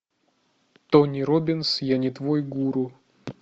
тони роббинс я не твой гуру